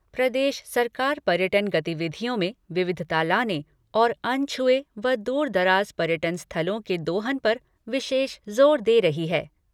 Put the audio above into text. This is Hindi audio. प्रदेश सरकार पर्यटन गतिविधियों में विविधता लाने और अनछुए व दुर दराज पर्यटन स्थलों के दोहन पर विशेष जोर दे रही है।